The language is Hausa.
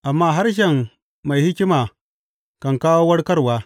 amma harshen mai hikima kan kawo warkarwa.